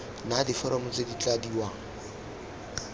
na diforomo tse di tladiwang